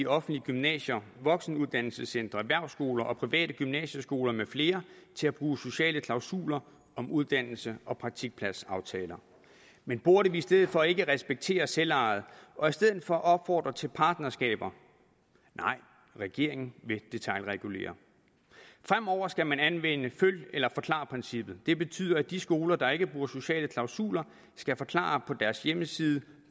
offentlige gymnasier voksenuddannelsescentre erhvervsskoler og private gymnasieskoler med flere til at bruge sociale klausuler om uddannelse og praktikpladsaftaler men burde vi i stedet for ikke respektere selvejet og i stedet for opfordre til partnerskaber nej regeringen vil detailregulere fremover skal man anvende følg eller forklar princippet det betyder at de skoler der ikke bruger sociale klausuler skal forklare på deres hjemmeside